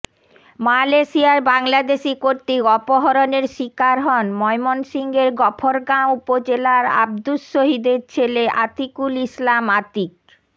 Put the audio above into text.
মালয়েশিয়ায় বাংলাদেশি কর্তৃক অপহরণের শিকার হন ময়মনসিংহের গফরগাঁও উপজেলার আব্দুস শহীদের ছেলে আতিকুল ইসলাম আতিক